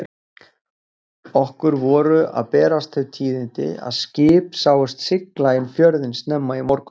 Okkur voru að berast þau tíðindi að skip sáust sigla inn fjörðinn snemma í morgun.